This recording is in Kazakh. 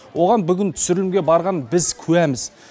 оған бүгін түсірілімге барған біз куәміз